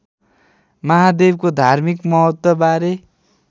महादेवको धार्मिक महत्त्वबारे